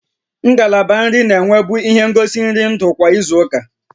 Ngalaba nri na-enwebu ihe ngosi nri nri ndụ kwa izu ụka